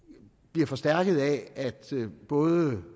bliver forstærket af at både